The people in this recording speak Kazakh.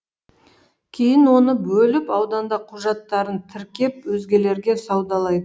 кейін оны бөліп ауданда құжаттарын тіркеп өзгелерге саудалайды